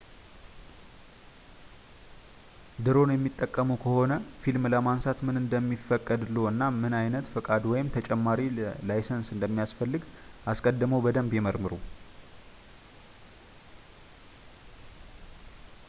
ድሮን የሚጠቀሙ ከሆነ ፊልም ለማንሳት ምን እንደሚፈቀድልዎ እና ምን ዓይነት ፈቃድ ወይም ተጨማሪ ላይሰንስ እንደሚያስፈልግ አስቀድመው በደንብ ይመርምሩ